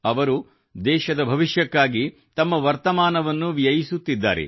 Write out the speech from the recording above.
ಅವರು ದೇಶದ ಭವಿಷ್ಯಕ್ಕಾಗಿ ತಮ್ಮ ವರ್ತಮಾನವನ್ನು ವ್ಯಯಿಸುತ್ತಿದ್ದಾರೆ